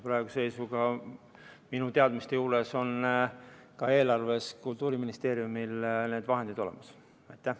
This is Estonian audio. Praeguse seisuga on minu teada Kultuuriministeeriumil need vahendid eelarves olemas.